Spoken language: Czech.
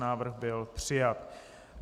Návrh byl přijat.